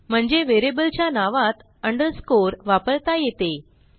म्हणजे व्हेरिएबलच्या नावात अंडरस्कोर वापरता येते